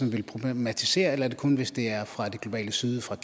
ville problematisere eller er det kun hvis det er fra det globale syd fra